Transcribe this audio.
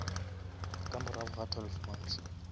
ka morago ga twelve months